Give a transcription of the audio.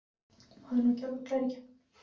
Maður er nú ekki alveg glær í gegn.